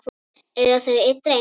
Eiga þau einn dreng.